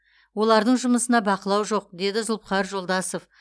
олардың жұмысына бақылау жоқ деді зұлыпхар жолдасов